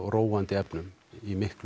róandi efnum í miklu